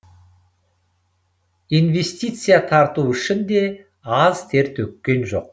инвестиция тарту үшін де аз тер төккен жоқ